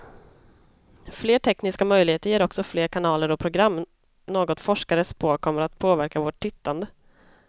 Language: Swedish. Fler tekniska möjligheter ger också fler kanaler och program, något forskare spår kommer att påverka vårt tittande.